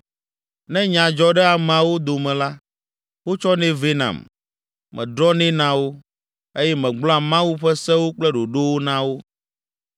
Ne nya dzɔ ɖe ameawo dome la, wotsɔnɛ vɛ nam, medrɔ̃nɛ na wo, eye megblɔa Mawu ƒe sewo kple ɖoɖowo na wo.”